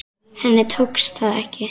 Henni tókst það ekki.